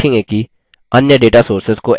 अन्य data sources data sources को access कैसे करें